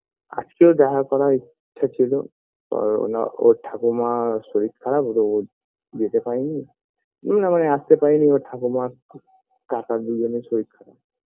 আজকেও দেখা করার ইচ্ছা ছিলো পার ওনার ওর ঠাকুমার শরীর খারাপ তো ও যেতে পারে নি আসতে পারে নি ওর ঠাকুমা খুব কাকা দুজনের শরীর খরাপ